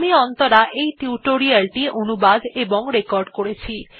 আমি অন্তরা এই টিউটোরিয়াল টি অনুবাদ এবং রেকর্ড করেছি